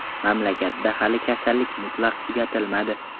Mamlakatda hali kasallik mutlaq tugatilmadi.